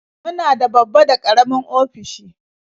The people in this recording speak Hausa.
Muna da babba da karamin ofisoshi.